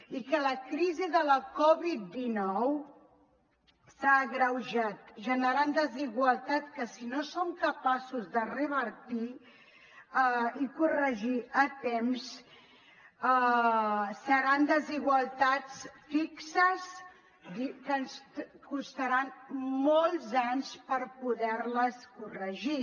i que la crisi de la covid dinou ha agreujat i ha generat desigualtats que si no som capaços de revertir i corregir a temps seran desigualtats fixes que ens costarà molts anys poder les corregir